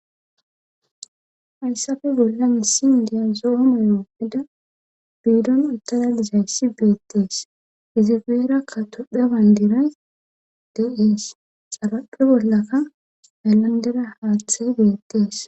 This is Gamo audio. Hayssape bollan misile bolla zo'o mayyuwa mayida biidon uttada dizayssi beetees. izi goyera tophiya bandiray de'ees. xarapha bollakka haylandera haaththi beetees.